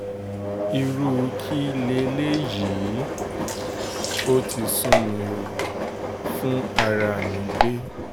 irú kí leléyìí ó ti sú mi ó fún ara mi gbé